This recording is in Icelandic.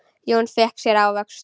Jón fékk sér ávöxt.